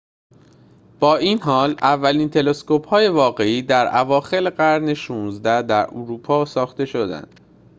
با این حال اولین تلسکوپ های واقعی در اواخر قرن ۱۶ در اروپا ساخته شدند